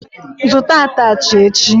Zụta atachị echi!